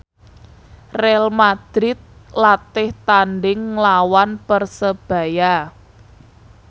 Real madrid latih tandhing nglawan Persebaya